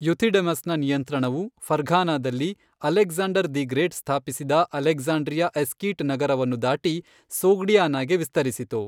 ಯುಥಿಡೆಮಸ್ನ ನಿಯಂತ್ರಣವು, ಫರ್ಘಾನಾದಲ್ಲಿ Alexander the Great ಸ್ಥಾಪಿಸಿದ ಅಲೆಕ್ಸಾಂಡ್ರಿಯಾ ಎಸ್ಕೀಟ್ ನಗರವನ್ನು ದಾಟಿ ಸೊಗ್ಡಿಯಾನಾಗೆ ವಿಸ್ತರಿಸಿತು,